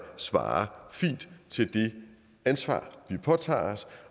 svarer fint til det ansvar vi påtager os